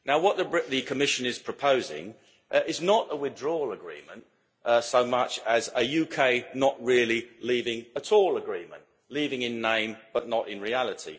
What the Commission is proposing is not a withdrawal agreement so much as a UK not really leaving at all' agreement leaving in name, but not in reality.